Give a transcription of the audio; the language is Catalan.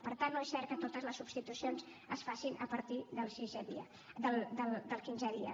per tant no és cert que totes les substitucions es facin a partir del quinzè dia